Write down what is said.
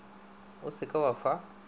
o se ke wa fa